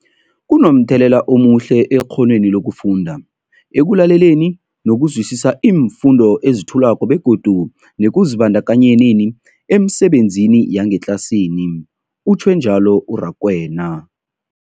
Kunomthelela omuhle ekghonweni lokufunda, ekulaleleni nokuzwisiswa iimfundo ezethulwako begodu nekuzibandakanyeni emisebenzini yangetlasini, utjhwe njalo u-Rakwena.